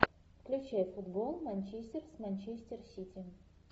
включай футбол манчестер с манчестер сити